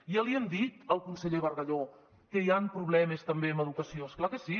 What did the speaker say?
ja li hem dit al conseller bargalló que hi han problemes també en educació és clar que sí